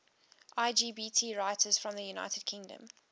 lgbt writers from the united kingdom